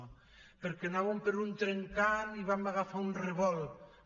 o perquè anàvem per un trencant i vam agafar un revolt